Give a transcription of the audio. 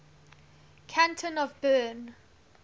canton of bern